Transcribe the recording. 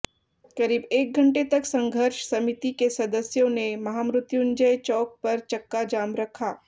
करीब एक घंटे तक संघर्ष समिति के सदस्यों ने महामृत्युंजय चौक पर चक्का जाम रखा